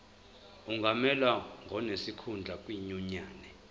angamelwa ngonesikhundla kwinyunyane